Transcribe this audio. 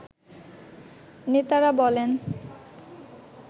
নেতারা বলেন